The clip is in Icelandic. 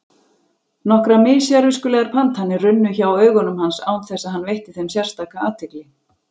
Nokkrar mis-sérviskulegar pantanir runnu hjá augum hans án þess að hann veitti þeim sérstaka athygli.